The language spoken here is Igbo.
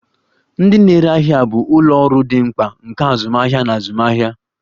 Ndị na-ere ahịa bụ ụlọ ọrụ dị mkpa nke azụmahịa na azụmaahịa.